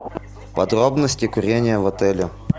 подробности курения в отеле